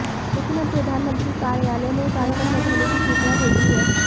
लेकिन अब प्रधानमंत्री कार्यालय ने कार्यक्रम रद्द होने की सूचना भेजी है